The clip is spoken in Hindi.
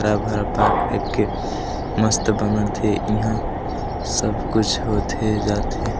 हरा-भरा पार्क टाइप के मस्त बनत हे इहा सब कुछ होथे जाथे--